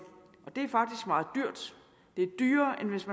det er faktisk meget dyrt det er dyrere end hvis